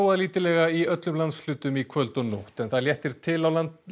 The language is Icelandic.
lítillega í öllum landshlutum í kvöld og nótt en það léttir til á